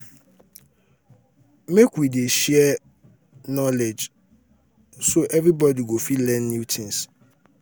make we dey share um knowledge so um everybody go fit learn new things.